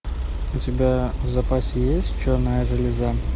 у тебя в запасе есть черная железа